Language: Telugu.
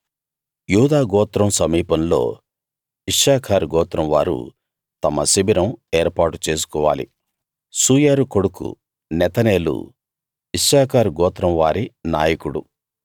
యూదా గోత్రం సమీపంలో ఇశ్శాఖారు గోత్రం వారు తమ శిబిరం ఏర్పాటు చేసుకోవాలి సూయారు కొడుకు నెతనేలు ఇశ్శాఖారు గోత్రం వారి నాయకుడు